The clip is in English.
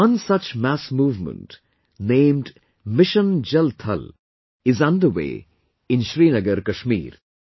One such mass movement named "Mission Jal Thal" is underway in Srinagar, Kashmir